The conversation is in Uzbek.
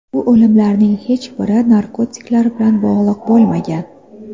Bu o‘limlarning hech biri narkotiklar bilan bog‘liq bo‘lmagan.